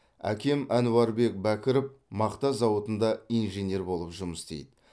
әкем ануарбек бәкіров мақта зауытында инженер болып жұмыс істейді